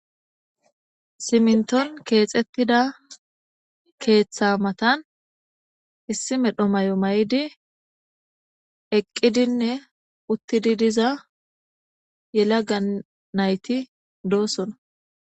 Siminton keexettida keeththa matan issi medho may7o may7di eqqidinne uttidi diza yela ga nayti doosona